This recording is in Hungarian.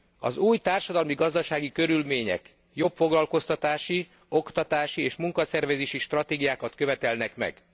Az új társadalmi gazdasági körülmények jobb foglalkoztatási, oktatási és munkaszervezési stratégiákat követelnek meg.